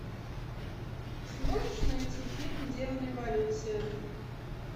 сможешь найти фильм демон революции